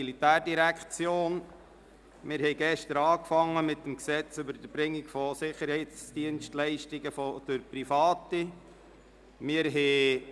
Gestern haben wir mit der ersten Lesung zum Gesetz über das Erbringen von Sicherheitsdienstleistungen durch Private (SDPG) begonnen.